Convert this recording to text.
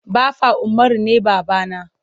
Baffa Umaru ne baba na.